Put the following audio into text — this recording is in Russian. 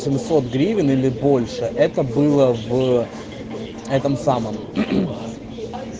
семьсот гривен или больше это было в этом самом